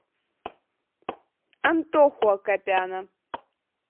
антоху акопяна